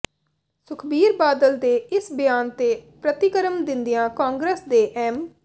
ਸੁਖਬੀਰ ਬਾਦਲ ਦੇ ਇਸ ਬਿਆਨ ਤੇ ਪ੍ਰਤੀਕਰਮ ਦਿੰਦਿਆਂ ਕਾਂਗਰਸ ਦੇ ਐਮ